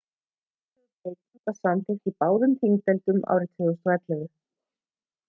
fyrirhuguð breyting var samþykkt í báðum þingdeildum árið 2011